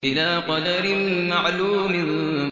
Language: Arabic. إِلَىٰ قَدَرٍ مَّعْلُومٍ